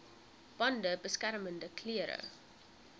bande beskermende klere